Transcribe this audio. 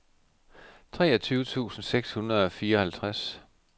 treogtyve tusind seks hundrede og fireoghalvtreds